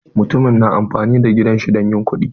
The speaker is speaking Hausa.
Mutumin na amfani da gidan shi don yin kuɗi.